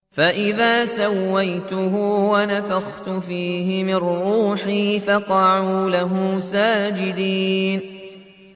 فَإِذَا سَوَّيْتُهُ وَنَفَخْتُ فِيهِ مِن رُّوحِي فَقَعُوا لَهُ سَاجِدِينَ